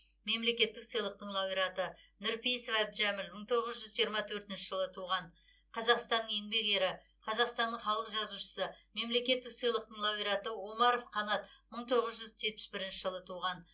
мемлекеттік сыйлықтың лауреаты нұрпейісов әбдіжәміл мың тоғыз жүз жиырма төртінші жылы туған қазақстанның еңбек ері қазақстанның халық жазушысы мемлекеттік сыйлықтың лауреаты омаров қанат мың тоғыз жүз жетпіс бірінші жылы туған